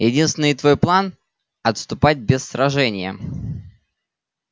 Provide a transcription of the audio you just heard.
единственный твой план отступать без сражения